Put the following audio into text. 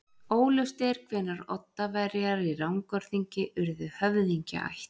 Óljóst er hvenær Oddaverjar í Rangárþingi urðu höfðingjaætt.